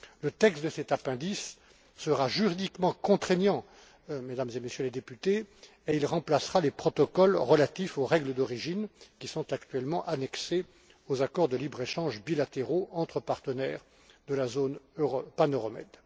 Le texte de cet appendice sera juridiquement contraignant, Mesdames et Messieurs les députés, et il remplacera les protocoles relatifs aux règles d'origine, qui sont actuellement annexés aux accords de libre échange bilatéraux entre partenaires de la zone pan euro med.